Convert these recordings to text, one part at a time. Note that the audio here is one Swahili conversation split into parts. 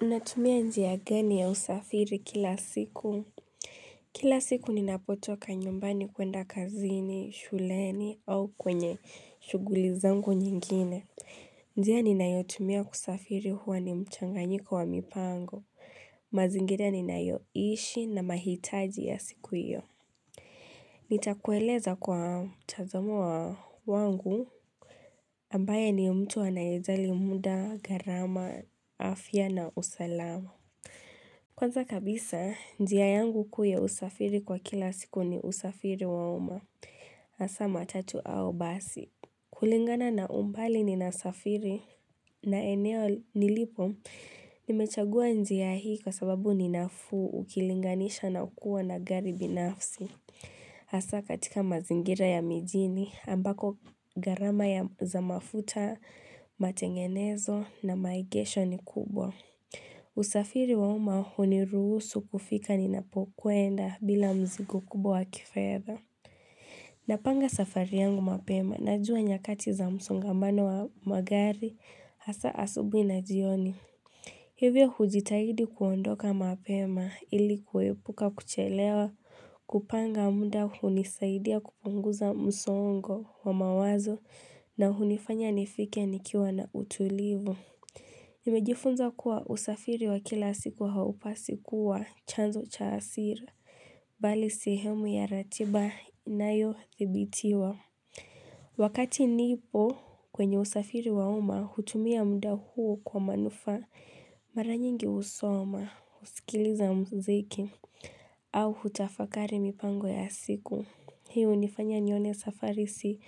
Mnatumia njia gani ya usafiri kila siku. Kila siku ninapotoka nyumbani kuenda kazini, shuleni au kwenye shuguli zangu nyingine. Njia ninayotumia kusafiri huwa ni mchanganyiko wa mipango. Mazingira ninayoishi na mahitaji ya siku iyo. Nitakueleza kwa mtazamo wa wangu ambaye ni mtu anayejali muda, garama, afya na usalama. Kwanza kabisa, njia yangu kuu ya usafiri kwa kila siku ni usafiri wa uma Asa matatu au basi kulingana na umbali ninasafiri na eneo nilipo Nimechagua njia hii kwa sababu ninafuu ukilinganisha na ukuwa na gari binafsi Asa katika mazingira ya mijini ambako garama ya zamafuta, matengenezo na maigesho ni kubwa usafiri wauma huniruhusu kufika ninapokuenda bila mzigo kubwa wa kifedha Napanga safari yangu mapema najua nyakati za msongamano wa magari hasa asubui na jioni Hivyo hujitahidi kuondoka mapema ili kuhepuka kuchelewa, kupanga muda hunisaidia kupunguza msongo wa mawazo na hunifanya nifike nikiwa na utulivu Nimejifunza kuwa usafiri wa kila siku haupasi kuwa chanzo cha hasira Bali sehemu ya ratiba inayo thibitiwa Wakati nipo kwenye usafiri wauma hutumia mda huo kwa manufa mara nyingi husoma husikiliza mziki au hutafakari mipango ya siku hiyo nifanya nione safari si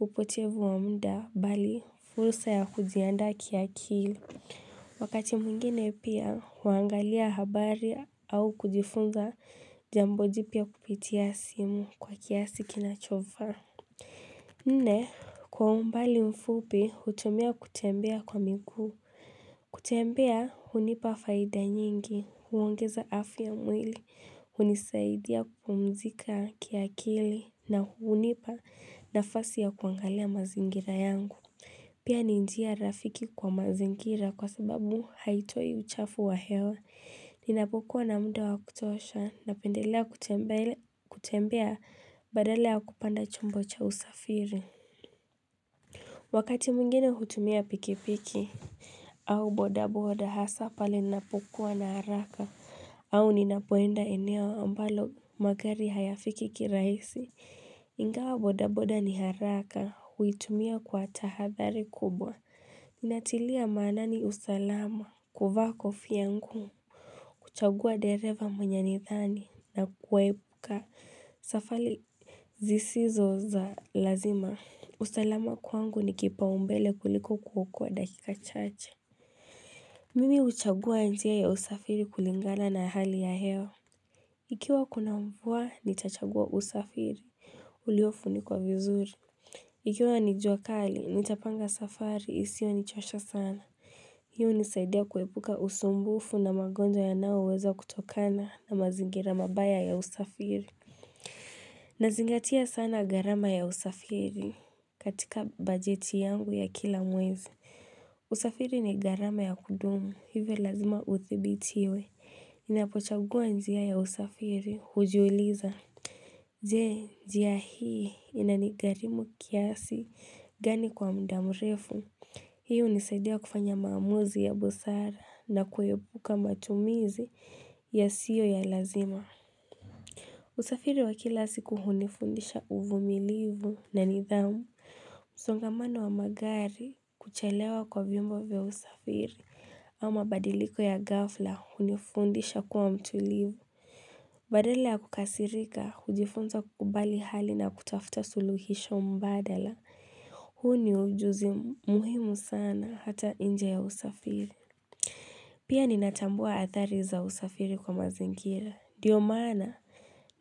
upotevu wa mda Bali furusa ya kuzianda kiakili Wakati mwengine pia, huangalia habari au kujifunza jambo jipya kupitia simu kwa kiasi kinacho faa. Nne, kwa umbali mfupi, hutumia kutembea kwa migu. Kutembea, hunipa faida nyingi, huongeza afya mwili, hunisaidia kupumzika kiakili, na hunipa nafasi ya kuangalia mazingira yangu. Pia ni njia rafiki kwa mazingira kwa sababu haitoi uchafu wa hewa ninapokuwa na mdu wa kutosha na pendelea kutembea badala ya kupanda chumbo cha usafiri Wakati mwingine hutumia pikipiki au bodaboda hasa pale ninapokuwa na haraka au ninapoenda eneo ambalo magari hayafiki kiraisi. Ingawa bodaboda ni haraka huitumia kwa tahathari kubwa. Ninatilia manani usalama kuvaa kofia ngu. Kuchagua dereva mwenyenithani na kuepuka safali zisizo za lazima. Usalama kwangu ni kipao mbele kuliko kuokoa dakika cha cha. Mimi uchagua njia ya usafiri kulingana na hali ya hew. Ikiwa kuna mvua, nitachagua usafiri. Uliofunikwa vizuri. Ikiwa ni jua kali, nitapanga safari, isiyo nichosha sana. Hiu nisaidia kuepuka usumbufu na magonjwa yanaoweza kutokana na mazingira mabaya ya usafiri. Nazingatia sana gharama ya usafiri katika bajeti yangu ya kila mwezi. Usafiri ni gharama ya kudumu, hivyo lazima uthibitiwe. Ninapochagua njia ya usafiri, hujiuliza. Jee, njia hii ina ni gharimu kiasi gani kwa mda mrefu. Hiu nisaidia kufanya maamuzi ya bosara na kuepuka matumizi ya siyo ya lazima. Usafiri wa kila siku kuhunifundisha uvumilivu na nidhamu. Msongamano wa magari kuchelewa kwa viombo vya usafiri. Ama badiliko ya ghafla hunifundisha kwa mtulivu. Badala ya kukasirika, hujifunza kukubali hali na kutafuta suluhisho mbadala. Huu ni ujuzi muhimu sana hata inje ya usafiri. Pia ninatambua hathari za usafiri kwa mazingira. Ndio maana,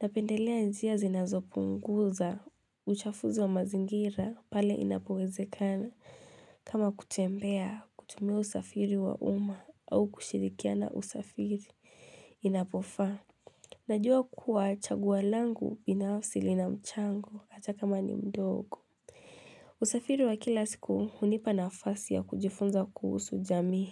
napendelea njia zinazopunguza uchafuzi wa mazingira pale inapowezekana. Kama kutembea kutumia usafiri wa uma au kushirikiana usafiri inapofaa. Najuwa kuwa chaguo langu ina mchango atakama ni mdogo. Usafiri wa kila siku hunipa nafasi ya kujifunza kuhusu jamii.